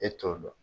E t'o dɔn